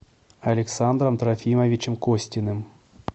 александром трофимовичем костиным